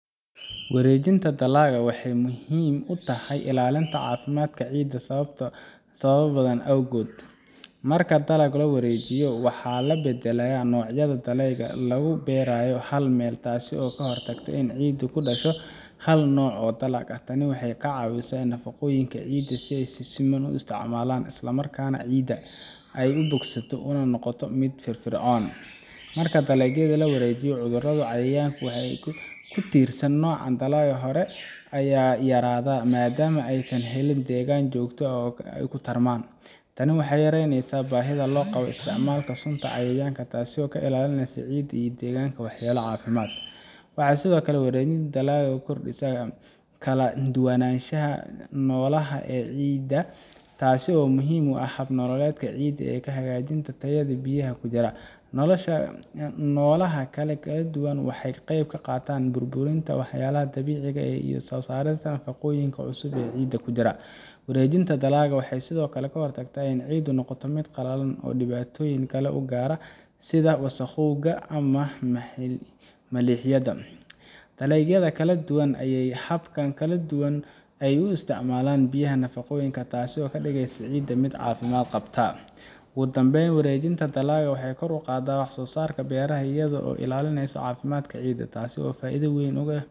Wareejinta dalagga waxay muhiim u tahay ilaalinta caafimaadka ciidda sababo badan awgood. Marka dalag la wareejiyo, waxaa la beddelaa noocyada dalagyada lagu beerayo hal meel, taasoo ka hortagta in ciiddu ku daasho hal nooc oo dalag ah. Tani waxay ka caawisaa in nafaqooyinka ciidda ay si siman u isticmaalmaan, isla markaana ciidda ay ka bogsato una noqoto mid firfircoon. Marka dalagga la wareejiyo, cudurada iyo cayayaanka ku tiirsan nooca dalagga hore ayaa yaraada, maadaama aysan helin deegaan joogto ah oo ay ku tarmaan. Tani waxay yareynaysaa baahida loo qabo isticmaalka sunta cayayaanka, taas oo ka ilaalinaysa ciidda iyo deegaanka waxyeello caafimaad. Sidoo kale, wareejinta dalagga waxay kordhisaa kala duwanaanshaha noolaha ee ciidda, taas oo muhiim u ah hab-nololeedka ciidda iyo hagaajinta tayada biyaha ku jira. Noolaha kala duwan waxay ka qayb qaataan burburinta walxaha dabiiciga ah iyo soo saarista nafaqooyin cusub oo ciidda ku jira. Wareejinta dalagga waxay sidoo kale ka hortagtaa in ciiddu noqoto mid qallalan ama dhibaatooyin kale soo gaara sida wasakhowga ama milixaynta. Dalagyada kala duwan ayaa leh habab kala duwan oo ay u isticmaalaan biyaha iyo nafaqooyinka, taasoo ka dhigaysa ciidda mid caafimaad qabta. Ugu dambeyn, wareejinta dalagga waxay kor u qaadaa wax soo saarka beeraha iyadoo la ilaalinayo caafimaadka ciidda, taasoo faa’iido weyn u leh